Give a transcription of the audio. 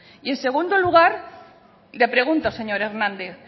y en segundo lugar le pregunto señor hernández